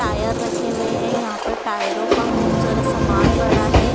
Tyre रखे हुए है यहां पर टायरों का खूब सारा समान पड़ा है।